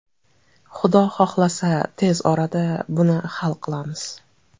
Xudo xohlasa, tez orada buni hal qilamiz.